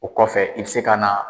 O kɔfɛ i bɛ se ka na